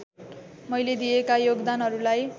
मैले दिएका योगदानहरूलाई